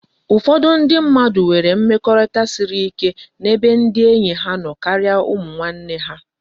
Ufodu ndi mmadu nwere mmekorita siri na ebe ndi enyi ha no karia umu nne ha